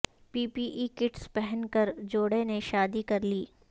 پی P E kits پہن کر جوڑے نے شادی کرلی